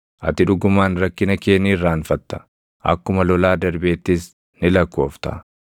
Ati dhugumaan rakkina kee ni irraanfatta; akkuma lolaa darbeettis ni lakkoofta.